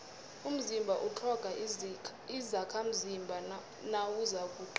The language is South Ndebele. umzimba utlhoga izakhamzimba nawuzakuqina